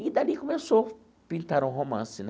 E dali começou pintar um romance, né?